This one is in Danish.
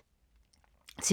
TV 2